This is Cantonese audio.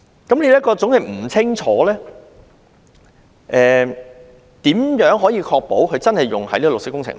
由於內容是這麼的不清楚，如何確保款項真的用於綠色工程？